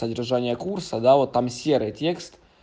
содержание курса да вот там серый текст